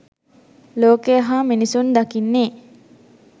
ලෝකය හා මිනිසුන් දකින්නේ